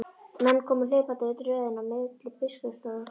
Menn komu hlaupandi yfir tröðina á milli biskupsstofu og kirkju.